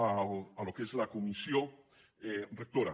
al que és la comissió rectora